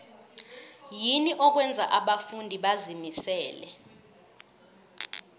yini okwenza abafundi bazimisele